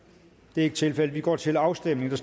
det er ikke tilfældet og vi går til afstemning